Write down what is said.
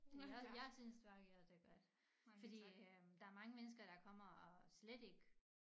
Jeg jeg synes du har gjort det godt fordi øh der mange mennesker der kommer og slet ikke